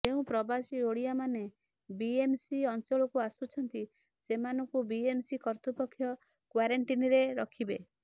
ଯେଉଁ ପ୍ରବାସୀ ଓଡ଼ିଆମାନେ ବିଏମ୍ସି ଅଞ୍ଚଳକୁ ଆସୁଛନ୍ତି ସେମାନଙ୍କୁ ବିଏମ୍ସି କର୍ତ୍ତୃପକ୍ଷ କ୍ୱାରେଣ୍ଟୀନ୍ରେ ରଖିବେ